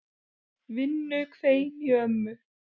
Vinnu hvein í ömmu.